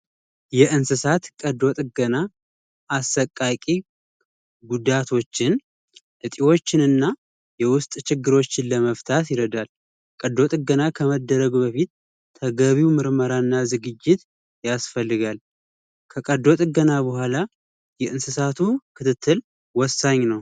የእንስሳት ቀዶ ጥገና አሰቃቂ ጉዳቶችን እጢዎችንና የውስጥ ችግሮችን ለመፍታት ይረዳል ቀዶ ጥገና ከመደረጉ በፊት ተገቢው ምርመራና ዝግጅት ያስፈልጋል ከቀዶ ጥገና በኋላ የእንስሳቱ ክትትል ወሳኝ